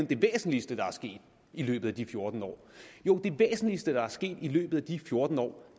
det væsentligste der er sket i løbet af de fjorten år jo det væsentligste der er sket i løbet af de fjorten år